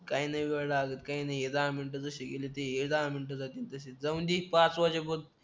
काही नाही वेळ लागत काही नाही हे दहा मिनटं जशी गेलीत ते ही दहा मिनटं जातील तशी जाऊंदे की पाच वाजे पर्यंत